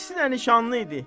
İkisi də nişanlı idi.